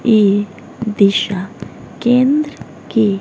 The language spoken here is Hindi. ये दिशा केंद्र के--